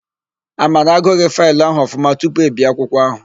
Amara agụghị faịlụ ahụ ọfụma tupu e bie akwụkwọ áhụ̀.